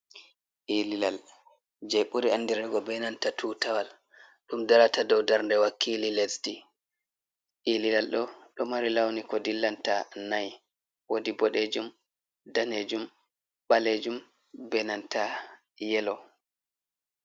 Ililal je buri andirgo be nanta tutawal ɗum darata dow darnde wakkili lesdi, ililal ɗo ɗow mari launi ko dillanta nai wodi boɗejum danejum ɓalejum benanta yelow.